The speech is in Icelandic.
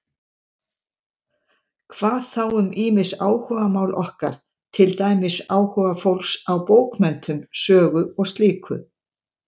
Hvað þá um ýmis áhugamál okkar, til dæmis áhuga fólks á bókmenntum, sögu og slíku?